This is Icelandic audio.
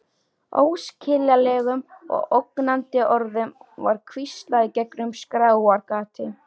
Óskiljanlegum og ógnandi orðum var hvíslað í gegnum skráargati.